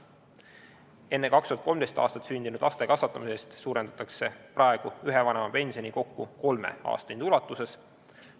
Enne 2013. aastat sündinud laste kasvatamise eest suurendatakse praegu ühe vanema pensioni kokku kolme aastahinde ulatuses.